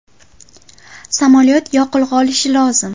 Samolyot yoqilg‘i olishi lozim.